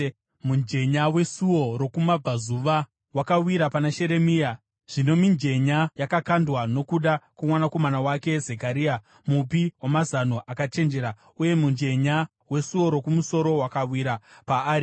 Mujenya weSuo Rokumabvazuva wakawira pana Sheremia. Zvino mijenya yakakandwa nokuda kwomwanakomana wake Zekaria, mupi wamazano akachenjera uye mujenya weSuo Rokumusoro wakawira paari.